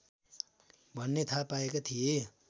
भन्ने थाहा पाएका थिए